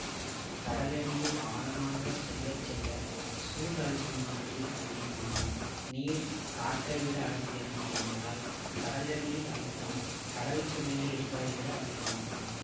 கடலடியில் ஆழமாகச் செல்ல செல்ல சூழ் அழுத்தமானது அதிகமாகும் நீர் காற்றை விட அடர்த்தியானது என்பதால் கடலடியில் அழுத்தம் கடலுக்கு மேலே இருப்பதை விட அதிகமாகும்